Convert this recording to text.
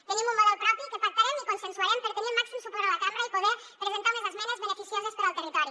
tenim un model propi que pactarem i consensuarem per tenir el màxim suport a la cambra i poder presentar unes esmenes beneficioses per al territori